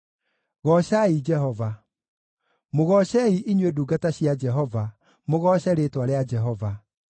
Goocai Jehova. Mũgoocei, inyuĩ ndungata cia Jehova, mũgooce rĩĩtwa rĩa Jehova.